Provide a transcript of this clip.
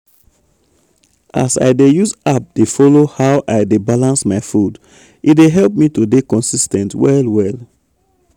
as i dey use app dey follow how i dey balance my food e dey help me to dey consis ten t well well.